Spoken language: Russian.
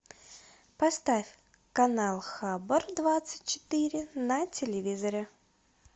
поставь канал хабар двадцать четыре на телевизоре